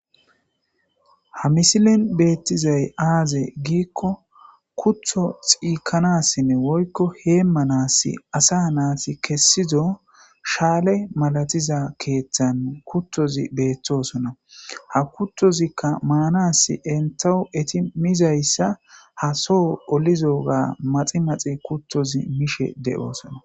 Ha misilen beettizay aaze giikko kutho xiikanassinne woykko heemmanas asa naati kessido shaale malatiza keeththan kuttozi beettosonna ha kuttozikka maanas entahu eti mizayssa ha soho olizo ga maxi maxi kuttozi mishe de'oosona.